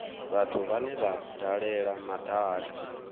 vhathu vhane vha dalela madaka